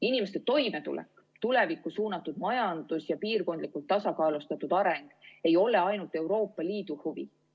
Inimeste toimetulek, tulevikku suunatud majandus ja piirkondlikult tasakaalustatud areng ei ole ainult Euroopa Liidu huvi.